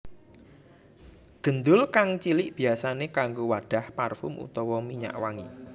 Gendul kang cilik biyasané kanggo wadhah parfum utawa minyak wangi